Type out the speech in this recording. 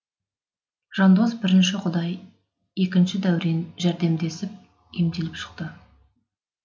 жандос бірінші құдай екінші дәурен жәрдемдесіп емделіп шықты